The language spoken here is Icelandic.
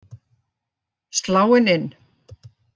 Sláin inn,